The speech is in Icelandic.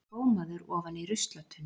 Gómaður ofan í ruslatunnu!